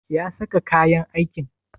Ya saka kayan aikin?